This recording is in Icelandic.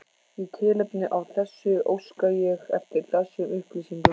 Í tilefni af þessu óska ég eftir þessum upplýsingum